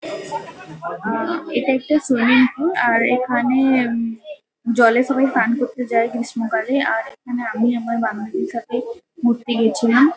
আ এটা একটা swimming pool আর এখানে উম জলে সবাই স্নান করতে যায় গ্রীষ্মকালে। আর এখানে আমি আমার বান্ধবীর সাথে ঘুরতে গেছিলাম।